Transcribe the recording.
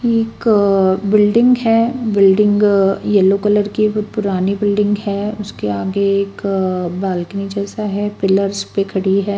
इक्क बिल्डिंग है building yellow colour की बहुत पुरानी बिल्डिंग है उसके आगे एक बालकनी जैसा है पिलर्स पे खडी है।